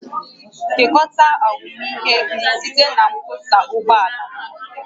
Kekọrịta ahụmịhe gị site na mkpọsa ụgbọ ala